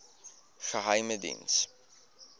geheimediens